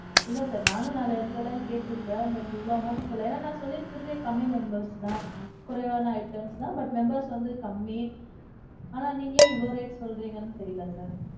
இல்ல sir. நானும் நாலு இடத்துல எல்லாம் கேட்ருக்கேன். But, இவ்வளவு amount சொல்லலே. ஏன்னா நான் சொல்லி இருக்கிறதே கம்மி members தான். குறைவான items தான் but members வந்து கம்மி. அதான் நீங்க ஏன் இவ்வளவு rate சொல்றீங்கனு தெரியல sir?